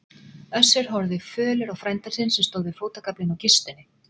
Össur horfði fölur á frænda sinn sem stóð við fótagaflinn á kistunni.